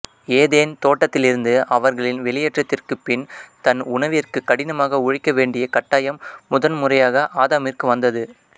Eden தோட்டத்திலிருந்து அவர்களின் வெளியேற்றத்திற்குப் பின் தன் உணவிற்குக் கடினமாக உழைக்க வேண்டியக் கட்டாயம் முதன்முறையாக ஆதாமிற்கு வந்தது